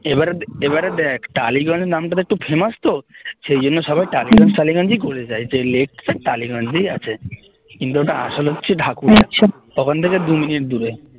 এবারে দেখ টালিগঞ্জ নামটা তো একটু famous তো সেই জন্য সবাই টালিগঞ্জ টালিগঞ্জ ই বলে যায় তা এই লেকটা টালিগঞ্জেই আছে কিন্তু ওটা আসল হচ্ছে ঢাকুরিয়া ওখান থেকে দু মিনিট দূরে